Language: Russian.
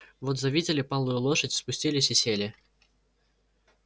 вот завидели палую лошадь спустились и сели